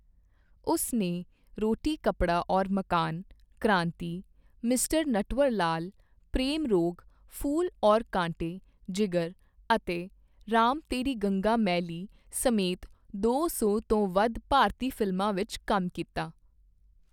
ਉਸ ਨੇ 'ਰੋਟੀ ਕੱਪੜਾ ਔਰ ਮਕਾਨ', 'ਕ੍ਰਾਂਤੀ', 'ਮਿਸਟਰ ਨਟਵਰਲਾਲ', 'ਪ੍ਰੇਮ ਰੋਗ', 'ਫੂਲ ਔਰ ਕਾਂਟੇ', 'ਜਿਗਰ' ਅਤੇ 'ਰਾਮ ਤੇਰੀ ਗੰਗਾ ਮੈਲੀ' ਸਮੇਤ ਦੋ ਸੌ ਤੋਂ ਵੱਧ ਭਾਰਤੀ ਫਿਲਮਾਂ ਵਿੱਚ ਕੰਮ ਕੀਤਾ।